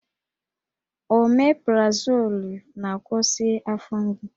Omeprazolụ na-akwụsị afọ mgbu